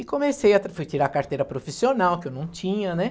E comecei, fui tirar a carteira profissional, que eu não tinha, né?